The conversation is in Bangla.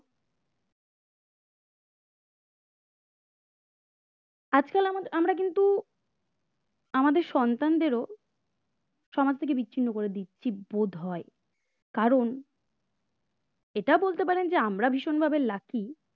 আজকাল আমরা কিন্তু আমাদের সন্তানদেরও সমাজ থেকে বিচ্ছিন্ন করে দিচ্ছি বোধ হয় কারণ এটা বলতে পারেন যে আমরা ভীষণভাবে lucky